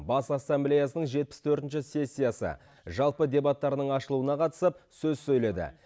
бас ассамблеясының жетпіс төртінші сессиясы жалпы дебаттарының ашылуына қатысып сөз сөйледі